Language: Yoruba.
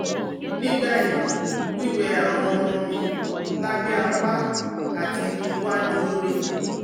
Nibayi wiwe awọn ọmọ mi labẹ apá ati iwaju ori